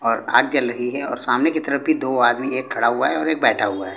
और आग जल रही है और सामने की तरफ भी दो आदमी एक खड़ा हुआ है एक बैठा हुआ है।